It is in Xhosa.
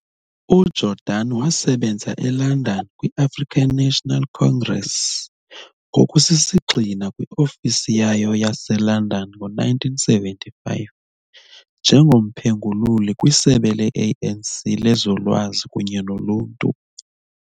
UJordani wasebenza eLondon kwi-African National Congress ngokusisigxina kwi-ofisi yayo yaseLondon ngo-1975 njengomphengululi kwiSebe le-ANC lezoLwazi kunye noLuntu.